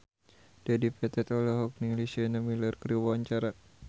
Dedi Petet olohok ningali Sienna Miller keur diwawancara